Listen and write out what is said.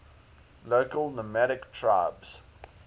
local nomadic tribes